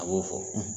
A b'o fɔ